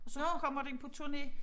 Og så kommer den på turné